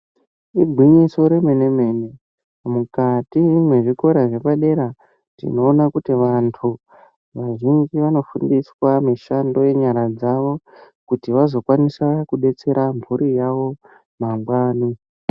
Igwinyiso remene-mene mukati mwezviko zvepadera tinoona kuti vantu vazhinji vanofundiswa mishando yenyara dzavo kuti vazokwanisa kudetsera mhuri dzavo mangwani.